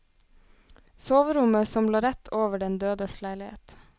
Soverommet som lå rett over den dødes leilighet.